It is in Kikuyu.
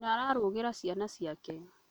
Nyina ararugĩra ciana ciake